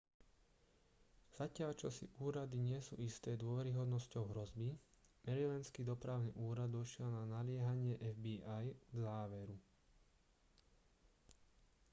zatiaľ čo si úrady nie sú isté dôveryhodnosťou hrozby marylandský dopravný úrad došiel na naliehanie fbi k záveru